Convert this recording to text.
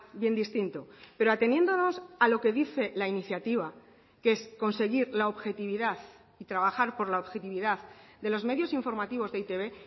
bien distinto pero ateniéndonos a lo que dice la iniciativa que es conseguir la objetividad y trabajar por la objetividad de los medios informativos de e i te be